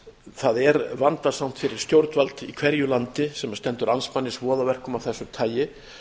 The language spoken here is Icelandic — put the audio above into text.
það er vandasamt fyrir stjórnvöld í hverju landi sem stendur andspænis voðaverkum af þessu tagi